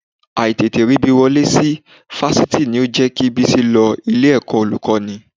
Àì tètè rí bí wọlé sí Fáṣítì ni ó jẹ́ kí Bísí lọ ilé-ẹ̀kọ́ Olùkọ́ní